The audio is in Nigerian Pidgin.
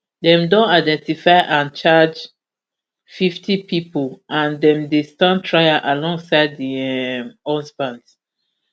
dem don identify and charge fifty pipo and dem dey stand trial alongside di um husband